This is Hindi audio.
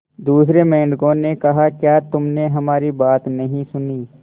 दूसरे मेंढकों ने कहा क्या तुमने हमारी बात नहीं सुनी